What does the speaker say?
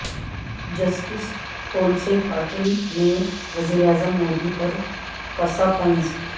justice Kolse Patil نے وزیراعظم مودی پر کسا طنز